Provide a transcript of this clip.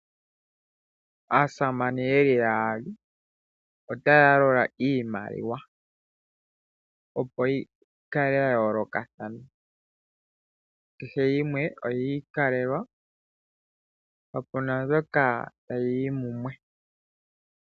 Aasamane ye li yaali otaya yalula iimaliwa, opo yi kale yayolokathana. Kehe yimwe oyi ikalela, kapu na mbyoka tayi yi mumwe.